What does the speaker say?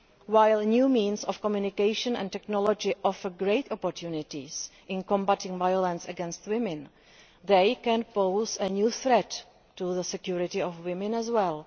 While new means of communication and technology offer great opportunities in combating violence against women, they can pose a new threat to the security of women as well.